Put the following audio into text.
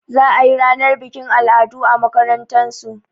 Za a yi ranar bikin al'adu a makarantasu.